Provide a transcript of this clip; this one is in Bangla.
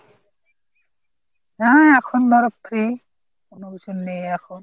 হ্যাঁ এখন ধরো free কোনো কিছু নেই এখন।